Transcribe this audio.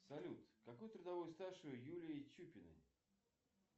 салют какой трудовой стаж у юлии чупиной